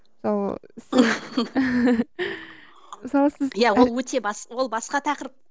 мысалы мысалы сіз иә ол өте ол басқа тақырып